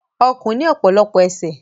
Ọ̀kùn ni ọpọlọpọ àwọn ẹsẹ